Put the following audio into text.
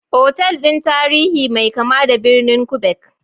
Otal ɗin tarihi mai kama da birnin Quebec.